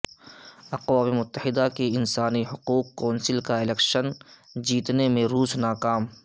اقوام متحدہ کی انسانی حقوق کونسل کا الیکشن جیتنے میں روس ناکام